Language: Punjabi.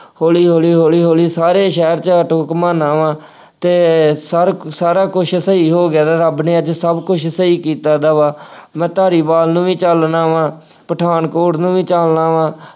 ਹੌਲੀ ਹੌਲੀ ਹੌਲੀ ਹੌਲੀ ਸਾਰੇ ਸ਼ਹਿਰ ਚ ਆਟੋ ਘੁੰਮਾਉਂਦਾ ਵਾ ਅਤੇ ਸਾਰਾ ਕੁ ਸਾਰਾ ਕੁੱਝ ਸਹੀ ਹੋ ਗਿਆ ਤਾਂ ਰੱਬ ਨੇ ਅੱਜ ਸਭ ਕੁੱਝ ਸਹੀ ਕੀਤਾ ਦਾ ਵਾ, ਮੈਂ ਧਾਰੀਵਾਲ ਨੂੰ ਚੱਲਦਾ ਵਾ, ਪਠਾਨਕੋਟ ਨੂੰ ਵੀ ਚੱਲਦਾ ਵਾ।